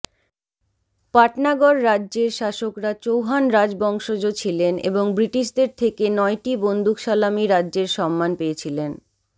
পাটনাগড় রাজ্যের শাসকরা চৌহান রাজবংশজ ছিলেন এবং ব্রিটিশদের থেকে নয়টি বন্দুকসালামী রাজ্যের সম্মান পেয়েছিলেন